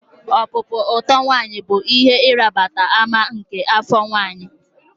Ọpụpụ oto nwanyi bụ ihe ịrịba ama nke afọ ime